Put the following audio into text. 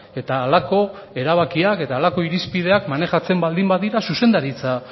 eta halako erabakiak eta halako irizpideak maneiatzen baldin badira zuzendaritza